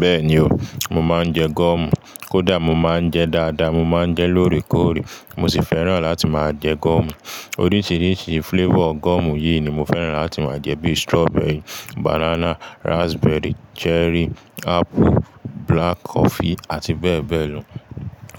Bẹ́ẹ̀ni o, mo máa ń jẹ gọ́ọ̀mù. Kódà mo máa ń jẹ dáadáa, mo máa ń jẹ lóòrèkóòrè mo sì fẹ́ràn láti máa jẹ gọ́ọ̀mù. Oríṣìíríṣìí flavour gọ́ọ̀mù yìí ni mo fẹ́ràn láti máa jẹ bi strawberry, banana, ráspbẹ́rì, ṣẹrí, ápù, black coffee àti bẹ́ẹ̀ bẹ́ẹ̀ lọ.